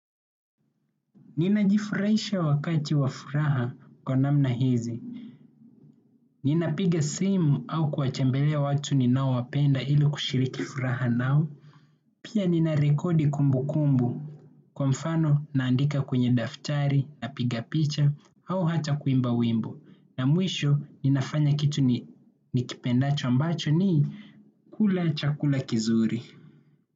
Ninajifurahisha wakati wa furaha kwa namna hizi. Ninapiga simu au kuwatembelea watu ninaowapenda ili kushiriki furaha nao. Pia ninarekodi kumbukumbu. Kwa mfano naandika kwenye daftari, napiga picha au hata kuimba wimbo. Na mwisho ninafanya kitu nikipendacho ambacho ni kula chakula kizuri.